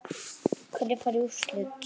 Hverjir fara í úrslit?